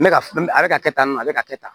N bɛ ka a bɛ ka kɛ tan a bɛ ka kɛ tan